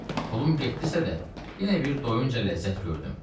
Pulum getdisə də, yenə bir doyunca ləzzət gördüm.